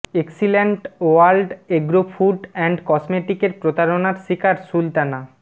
excellent world agro food and কসমেটিকের প্রতারণার শিকার সুলতানা